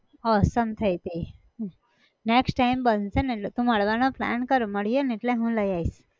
હા સમઝાઈ ગઈ, હમ next time બનશે ન એટલે તું મળવાનો plan કર મળીએ ને એટલે હું લઇ આઈશ.